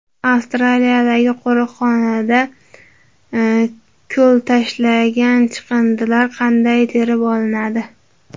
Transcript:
Avstraliyadagi qo‘riqxonada ko‘lga tashlangan chiqindilar qanday terib olinadi?